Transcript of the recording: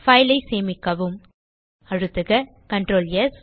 file ஐ சேமிக்கவும் அழுத்துக Ctrl ஸ்